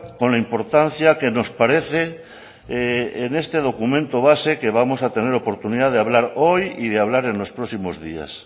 con la importancia que nos parece en este documento base que vamos a tener oportunidad de hablar hoy y de hablar en los próximos días